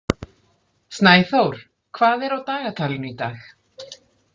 Snæþór, hvað er á dagatalinu í dag?